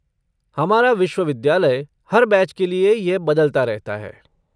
हमारा विश्वविद्यालय हर बैच के लिए यह बदलता रहता है।